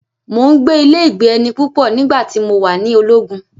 mò ń gbé ilé-ìgbé-ẹni púpọ̀ nígbà tí mo wà ni ológun.